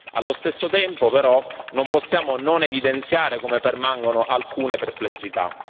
Allo stesso tempo, però, non possiamo non evidenziare come permangono alcune perplessità.